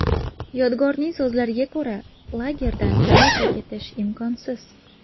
Yodgorning so‘zlariga ko‘ra, lagerdan tezda ketish imkonsiz.